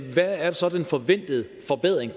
hvad er så den forventende forbedring